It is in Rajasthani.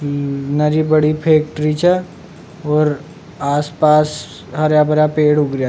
नरी बड़ी फैक्ट्री छ और आस पास हरा भरा पेड़ उग रेहा।